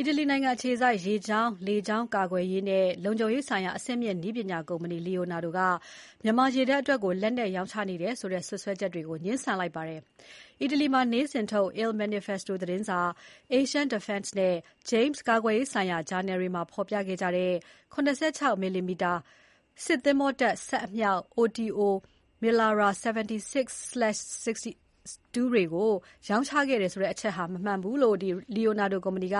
အီတလီနိုင်ငံအခြေစိုက် လေကြောင်း၊ ရေကြောင်းကာကွယ်ရေးနဲ့ လုံခြုံရေးဆိုင်ရာ အဆင့်မြင့် နည်းပညာကုမ္ပဏီ Leonardo က မြန်မာရေတပ်အတွက် လက်နက်ရောင်းချနေတယ်ဆိုတဲ့ စွပ်စွဲချက်တွေကို ငြင်းဆိုလိုက်ပါတယ်။ အီတလီမှာနေ့စဉ်ထုတ် Il Manifesto သတင်းစာ၊ Asian Defense နဲ့ James ကာကွယ်ရေးဆိုင်ရာ ဂျာနယ်တွေမှာ ဖော်ပြခဲ့ကြတဲ့ ၇၆ မီလီမီတာ စစ်သင်္ဘောတပ် စက်အမြောက် OTO Melara 76/62 တွေကို ရောင်းချခဲ့တယ်ဆိုတဲ့အချက်ဟာ မမှန်ကန်ဘူးလို့ Leonardo ကုမ္ပဏီက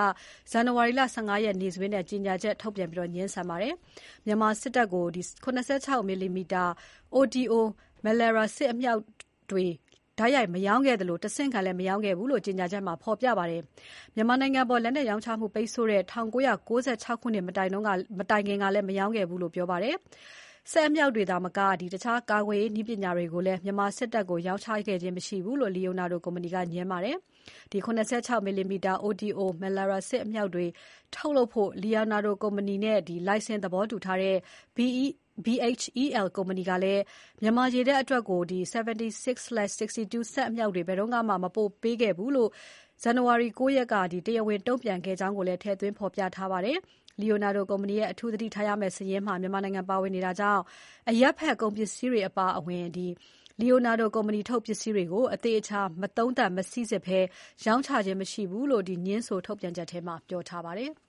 ဇန်နဝါရီ ၁၅ ရက် နေ့စွဲနဲ့ ကြေညာချက်ထုတ်ပြန် ငြင်းဆန်ခဲ့ပါတယ်။ မြန်မာစစ်တပ်ကို ၇၆ မီလီမီတာ OTO Melara အမြောက်တွေကို တိုက်ရိုက်မရောင်းခဲ့သလို တဆင့်ခံလည်းမရောင်းခဲ့ဘူးလို့ ကြေညာချက်မှာ ဖော်ပြပါတယ်။ မြန်မာနိုင်ငံအပေါ် လက်နက်ရောင်းချမှု ပိတ်ဆို့ခဲ့တဲ့ ၁၉၉၆ ခုနှစ် မတိုင်ခင်ကလည်း မရောင်းခဲ့ဖူးဘူးလို့ ပြောပါတယ်။ အမြောက်တွေသာမက တခြားကာကွယ်ရေး နည်းပညာတွေကိုလည်း မြန်မာစစ်တပ်ကို ရောင်းချ ခဲ့ခြင်းမရှိဘူးလို့ Leonardo ကုမ္ပဏီက ငြင်းပါတယ်။ ၇၆ မီလီမီတာ OTO Melara အမြောက်တွေ ထုတ်လုပ်ဖို့ Leonardo ကုမ္ပဏီနဲ့ လိုင်စင်သဘောတူထားတဲ့ BHEL ကုမ္ပဏီကလည်း မြန်မာရေတပ် အတွက် 76/62 စက်အမြောက် ဘယ်တုန်းကမှ မပို့ပေးဖူးဘူးလို့ ဇန်နဝါရီ ၉ ရက်က တရားဝင် တုံ့ပြန်ခဲ့ကြောင်းကိုလည်း ထည့်သွင်းဖော်ပြထားပါတယ်။ Leonardo ကုမ္ပဏီရဲ့ အထူး သတိထားရမယ့်စာရင်းမှာ မြန်မာနိုင်ငံပါဝင်နေတာကြောင့် အရပ်ဘက် ကုန်ပစ္စည်းတွေအပါအဝင် Leonardo ကုမ္ပဏီထုတ်ပစ္စည်းတွေကို အသေအချာမသုံးသပ် မစိစစ်ဘဲ ရောင်းချခြင်းမရှိဘူးလို့ ငြင်းဆိုထုတ်ပြန်ချက်ထဲမှာ ပြောထားပါတယ်။